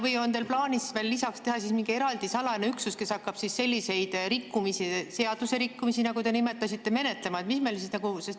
Või on teil plaanis veel lisaks teha siis mingi eraldi salajane üksus, kes hakkab selliseid rikkumisi, seadusrikkumisi, nagu te nimetasite, menetlema?